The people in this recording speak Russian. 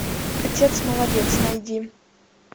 отец молодец найди